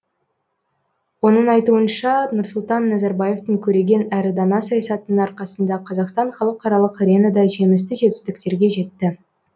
оның айтуынша нұрсұлтан назарбаевтың көреген әрі дана саясатының арқасында қазақстан халықаралық аренада жемісті жетістіктерге жетті